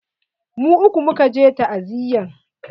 Mu uku muka je ta'aziyan.